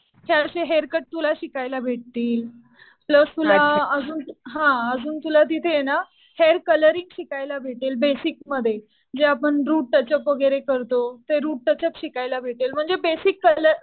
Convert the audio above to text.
हे असे hair cut तुला शिकायला भेटतील. प्लस तुला हा अजून तुला तिथे ना हेअर कलरिंग शिकायला भेटेल. बेसिक मध्ये. जे आपण रूट टच अप वगैरे करतो. ते रूट टच अप शिकायला भेटेल. म्हणजे बेसिक कलर